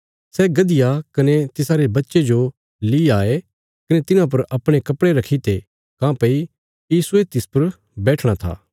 सै गधिया कने तिसारे बच्चे जो ली आये कने तिन्हां पर अपणे कपड़े रखीते काँह्भई यीशुये तिस पर बैठणा था